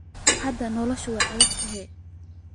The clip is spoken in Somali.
Hada nolosha way aadaktahy.